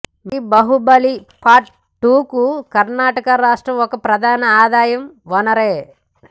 మరి బాహుబలి పార్ట్ టూకు కర్ణాటక రాష్ట్రం ఒక ప్రధాన ఆదాయ వనరే